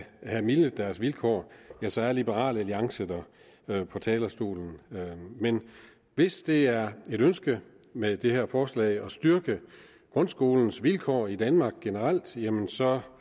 have mildnet deres vilkår ja så er liberal alliance der på talerstolen men hvis det er et ønske med det her forslag at styrke grundskolens vilkår i danmark generelt jamen så